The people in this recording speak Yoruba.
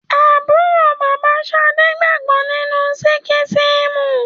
Àbúrò bàbá Ṣadé gbàgbọ́ nínú síkísímù